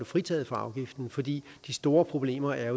fritaget for afgiften fordi de store problemer er